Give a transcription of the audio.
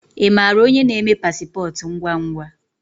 Imara onye na-eme pasipotu ngwangwa?